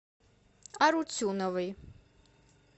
арутюновой